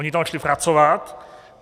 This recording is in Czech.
Oni tam šli pracovat.